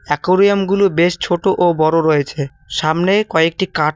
একুরিয়ামগুলো বেশ ছোট ও বড় রয়েছে সামনে কয়েকটি কাটও--